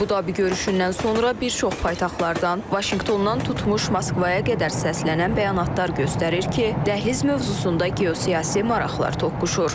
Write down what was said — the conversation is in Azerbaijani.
Əbu-Dabi görüşündən sonra bir çox paytaxtlardan, Vaşinqtondan tutmuş Moskvaya qədər səslənən bəyanatlar göstərir ki, dəhliz mövzusunda geosiyasi maraqlar toqquşur.